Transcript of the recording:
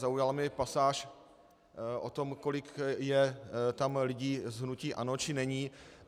Zaujala mě pasáž o tom, kolik je tam lidí z hnutí ANO či není.